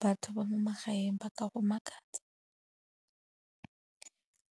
Batho ba mo magaeng ba ka go makatsa.